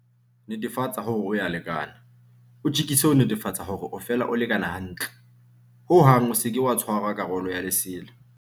Netefatsa hore o ya o lekana. O tjekise ho netefatsa hore o fela o lekana hantle. Ho hang o seke wa tshwara karolo ya lesela.